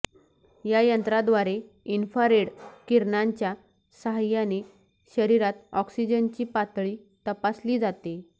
या यंत्राद्वारे इन्फ्रारेड किरणांच्या सहाय्याने शरीरात ऑक्सिजनची पातळी तपासली जाते